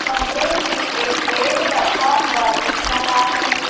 कमरे में एक बेड रखा हुआ दिख रहा है।